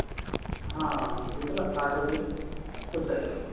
ਹਾਂ computer ਦਾ heart ਹੋਗਿਆ processor